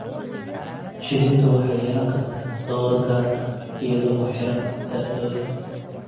Shinnidu waxay yeelan kartaa door gaar ah iyadoo ku xiran da'dooda.